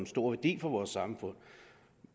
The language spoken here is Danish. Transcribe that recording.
stor værdi for vores samfund